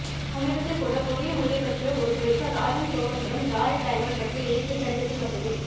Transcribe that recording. சமீபத்தில்கூட கொரிய மொழியைப்பற்றிய ஒரு குறிப்பு ராஜன் சோமந்துரம் ஜாரேட் டயமண்ட் பற்றி எழுதிய கடிதத்தில் வந்தது